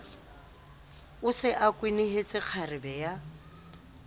se a kwenehetse kgarebe ya